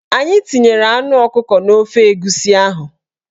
Anyị tinyere anụ ọkụkọ n'ofe egusi ahụ